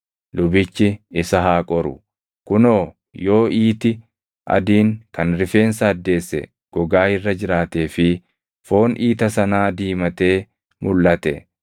Lubichi isa haa qoru; kunoo yoo iiti adiin kan rifeensa addeesse gogaa irra jiraatee fi foon iita sanaa diimatee mulʼate,